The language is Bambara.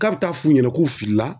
K'a bɛ taa f'u ɲɛna k'u filila